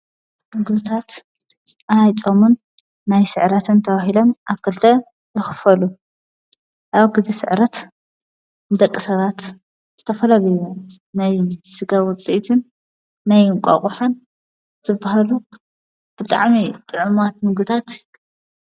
ንጉታት ኣይጦሙን ናይ ሥዕራተን ተዋሂለም ኣብ ከልተ ይኽፈሉ። ያው ጊዜ ሥዕረት ደቂ ሰባት ዘተፈለለዩ በበን ናይ ሥጋ ውጽእትን ናይ እንቋቑሓን ዘብሃሉ ብጥዕሚ ጥዕሙት ምግብታት